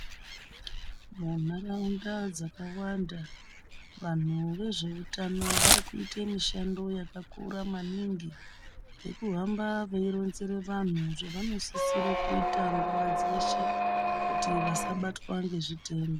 Munharaunda dzakawanda vantu vezvehutano vari Kuita mishando yakakura maningi vanohamba veironzera vantu zvavanosisa kuita nguwa dzeshe kuti vasabatwa nechitenda.